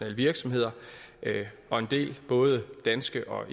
virksomheder og en del både danske og